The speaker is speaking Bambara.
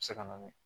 Se ka na ni